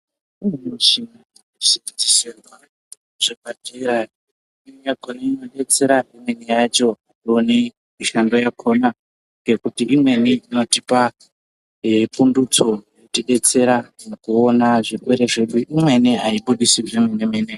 Imweni michini inodzeserwa zvemadhiri aya imweni yakhona inodetsera imweni yacho tinone Mushando yakhona ngekuti imweni inotipa ee pundutso inoti detsera mukuona zvirwere zvedu imweni haibudisi zvemene mene.